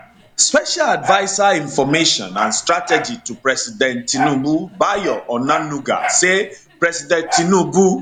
special adviser information and strategy to president tinubu bayo onanuga say president tinubu